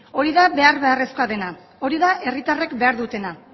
hori da behar beharrezkoa dena hori da herritarrek behar dutena